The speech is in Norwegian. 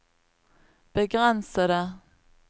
begrensede